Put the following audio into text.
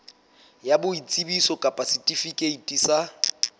ya boitsebiso kapa setifikeiti sa